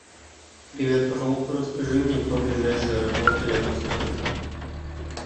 привет пожалуйста расскажи мне про ближайшие аэропорты рядом с отелем